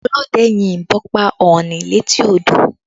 Ọlọ́dẹ yin ìbọn pa ọ̀ọ̀ni létí odò